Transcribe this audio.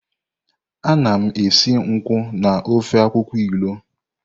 Ana m esi nkwụ na ofe akwukwo ilu.